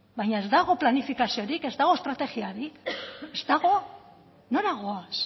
baina ez dago planifikaziorik ez dago estrategiarik ez dago nora goaz